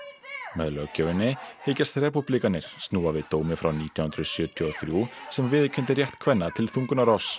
með löggjöfinni hyggjast snúa við dómi frá nítján hundruð sjötíu og þrjú sem viðurkenndi rétt kvenna til þungunarrofs